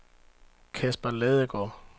Kasper Ladegaard